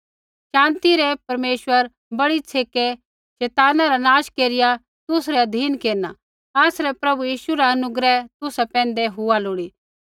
शान्ति रै परमेश्वरा बड़ी छ़ेकै शैताना रा नाश केरिया तुसरै अधीन केरना आसरै प्रभु यीशु रा अनुग्रह तुसा पैंधै हुआ लोड़ी